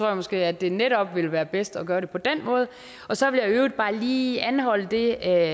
jeg måske at det netop ville være bedst at gøre det på den måde så vil jeg i øvrigt bare lige anholde det